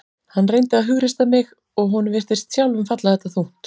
Hann reyndi að hughreysta mig og honum virtist sjálfum falla þetta þungt.